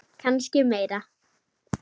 Kannski meira.